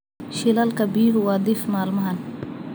Shilalka biyuhu waa dhif maalmahan.